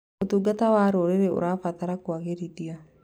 ũtungata wa rũrĩrĩ ũrabatara kũagĩrithio.